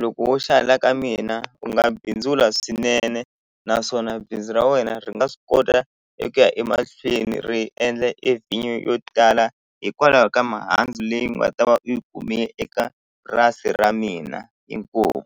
loko wo xa la ka mina u nga bindzula swinene naswona bindzu ra wena ri nga swi kota eku ya emahlweni ri endla e vhinyo yo tala hikwalaho ka mihandzu leyi u nga ta va u yi kume eka purasi ra mina inkomu.